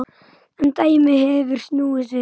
En dæmið hefur snúist við.